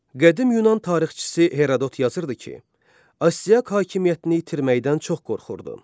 Qədim Yunan tarixçisi Herodot yazırdı ki, Astiaq hakimiyyətini itirməkdən çox qorxurdu.